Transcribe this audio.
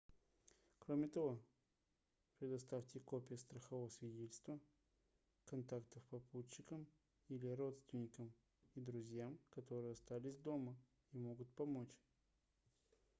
кроме того предоставьте копии страхового свидетельства/контактов попутчикам или родственникам и друзьям которые остались дома и могут помочь